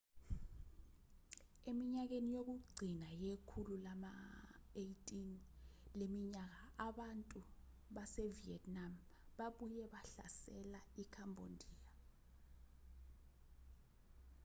eminyakeni yokugcina yekhulu lama-18 leminyaka abantu basevietnam babuye bahlasela ikhambodiya